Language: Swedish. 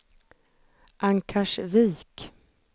Ankarsvik